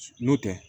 N'o tɛ